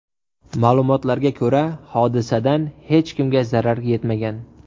Ma’lumotlarga ko‘ra, hodisadan hech kimga zarar yetmagan.